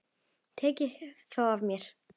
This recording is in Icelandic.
Tekið þá af mér.